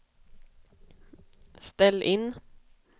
ställ in